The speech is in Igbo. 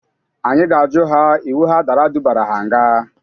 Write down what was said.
Anyị ga-ajụ ha iwu ha dara dubara ha nga.